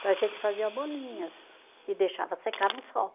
Então a gente fazia bolinhas e deixava secar no sol.